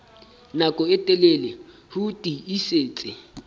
nako e telele ho tiisitse